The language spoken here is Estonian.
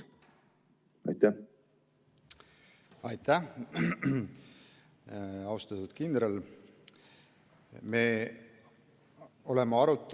Aitäh, austatud kindral!